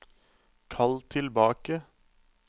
kall tilbake